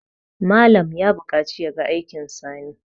Malam ya buƙaci ya ga aikin Sani